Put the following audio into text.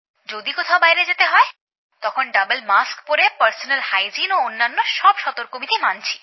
যদি কোথাও বাইরে যেতে হয় তখন দুটো মাস্ক পরে পরিষ্কার পরিচ্ছন্নতা ও অন্যান্য সব সর্তক বিধি মানছি